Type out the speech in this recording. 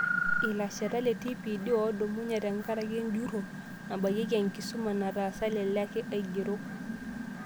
Ilashetak le TPD oodumunye tengaraki enjurro nabayieki enkisuma nataasa lele ake aigerok